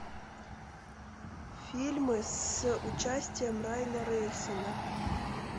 фильмы с участием райана рейнольдса